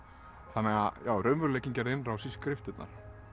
þannig að raunveruleikinn gerði innrás í skriftirnar